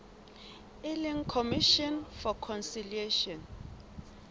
e leng commission for conciliation